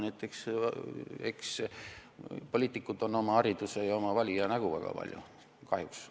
Eks poliitikud ole väga palju hariduse ja oma valija nägu, kahjuks.